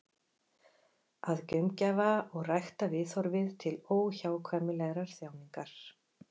Að gaumgæfa og rækta viðhorfið til óhjákvæmilegrar þjáningar.